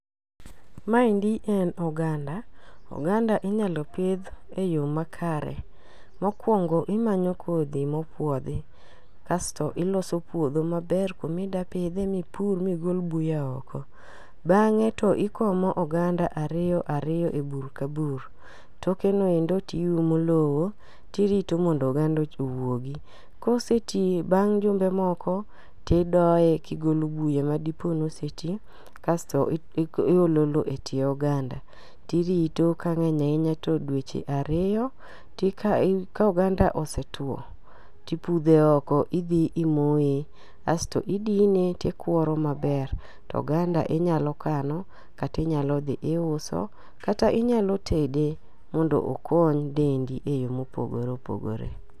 Maendi en oganda, oganda inyalo pidh e yo makare. Mokwongo imanyo kodh mopuodhi kasto iloso puodho maber kumidapidhe mipur migol buya oko. Bang'e to ikomo oganda ariyo ariyo e bur ka bur, tokenoendo tiumo lowo tirito mondo oganda owuogi. Koseti bang' jumbe moko tidoye kigolo buya madipo noseti kasto iolo lo e tie oganda tirito kang'eny ahinya to dweche ariyo ka oganda osetwo tipudhe oko idhi imoye aasto idine tikworo maber to oganda inyalo kano katinyalo dhi iuso kata inyalo tede mondo okony dendi e yore mopogore opogore.